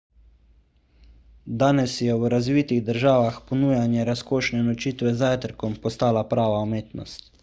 danes je v razvitih državah ponujanje razkošne nočitve z zajtrkom postalo prava umetnost